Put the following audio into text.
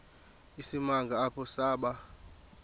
isimanga apho saba